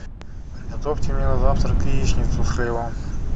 приготовьте мне на завтрак яичницу с хлебом